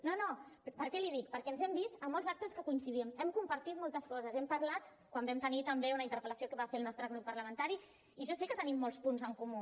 no no per què l’hi dic perquè ens hem vist en molts actes que hi coincidim hem compartit moltes coses hem parlat quan vam tenir també una interpel·lació que va fer el nostre grup parlamentari i jo sé que tenim molts punts en comú